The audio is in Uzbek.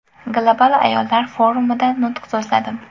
Global ayollar forumida nutq so‘zladim.